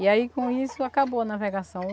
E aí com isso acabou a navegação.